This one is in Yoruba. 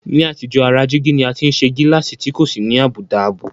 Ní àtijọ́, ara jígí ni a ti ń ṣe gíláàsì tí kò sì ní àbùdá ààbò